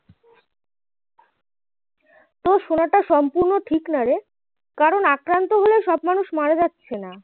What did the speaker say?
তোর শোনাটা সম্পূর্ণ ঠিক না রে কারণ আক্রান্ত হলেও সব মানুষ মারা যাচ্ছে না